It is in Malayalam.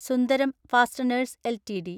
Sundaram fasteners LTD